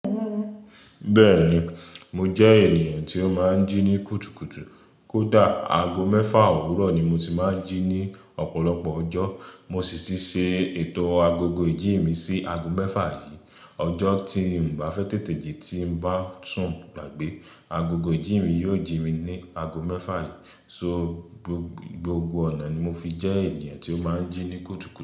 Bẹ́ẹ̀ni, mo jẹ́ ènìyàn tí ó máa ń jí ní kùtùkùtù. Kódà aago mẹ́fà òwúrọ̀ ni mo ti máa ń jí ní ọ̀pọ̀lọpọ̀ ọjọ́. Mo sì ti ṣe ètò agogo ìjí mi sí aago mẹ́fà yìí. Ọjọ́ tí mo bá fẹ́ tètè jí tí mo bá sùn gbàgbé, agogo ìjí mi yóò jí mi ní aago mẹ́fà yìí. So gbogbo ọ̀nà ni mo fi jẹ́ ènìyàn tí ó máa ń jí ní kùtùkùtù.